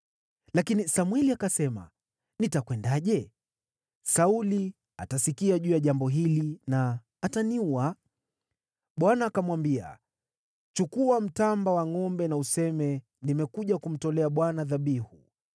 Lakini Samweli akasema, “Nitakwendaje? Sauli atasikia juu ya jambo hili na ataniua.” Bwana akamwambia, “Chukua mtamba wa ngʼombe na useme, ‘Nimekuja kumtolea Bwana dhabihu.’